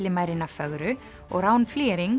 Villimærina fögru og Rán